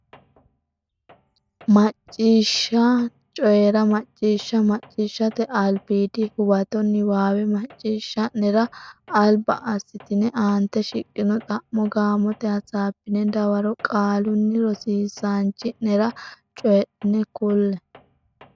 Macciishshanna Coyi ra Macciishsha Macciishshate Albiidi Huwato Niwaawe macciishsha nera alba assitine aante shiqqino xa mo gaamote hasaabbine dawaro qaalunni rosiisaanchi nera cho nera kulle.